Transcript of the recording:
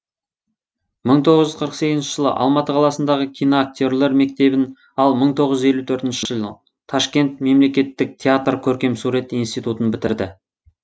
мың тоғыз жүз қырық сегізінші жылы алматы қаласындағы киноактерлер мектебін ал мың тоғыз жүз елу төртінші жылы ташкент мемлекеттік театр көркемсурет институтын бітірді